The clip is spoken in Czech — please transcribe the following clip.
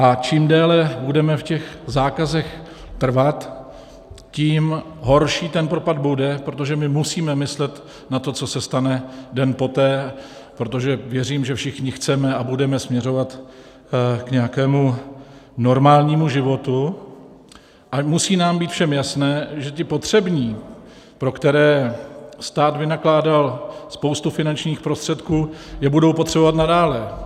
A čím déle budeme v těch zákazech trvat, tím horší ten propad bude, protože my musíme myslet na to, co se stane den poté, protože věřím, že všichni chceme a budeme směřovat k nějakému normálnímu životu, a musí nám být všem jasné, že ty potřební, pro které stát vynakládal spoustu finančních prostředků, je budou potřebovat nadále.